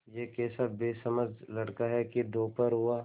यह कैसा बेसमझ लड़का है कि दोपहर हुआ